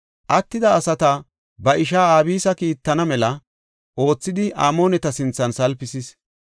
Attida asata ba ishaa Abisi kiittana mela oothidi Amooneta sinthan salpisis.